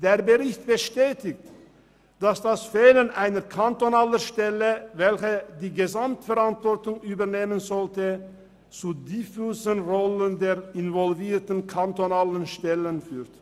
Der Bericht bestätigt, dass das Fehlen einer kantonalen Stelle, welche die Gesamtverantwortung übernehmen sollte, zu diffusem Wollen der involvierten kantonalen Stellen führt.